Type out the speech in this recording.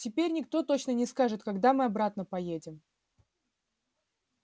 теперь никто точно не скажет когда мы обратно поедем